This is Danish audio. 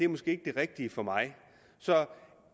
måske ikke det rigtige for mig